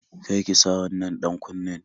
Kar ki sa wannan ɗan-kunnen